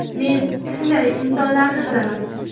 Men shunday insonlarni bilaman.